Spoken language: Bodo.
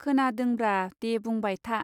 खोनांदोंब्रा दे बुंबाय था.